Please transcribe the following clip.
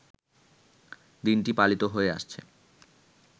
দিনটি পালিত হয়ে আসছে